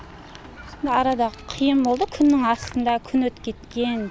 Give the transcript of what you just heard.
арада қиын болды күннің астында күн өтіп кеткен